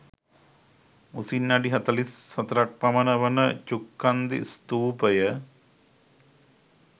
උසින් අඩි 44 ක් පමණ වන ඡුක්ඛන්දී ස්ථූපය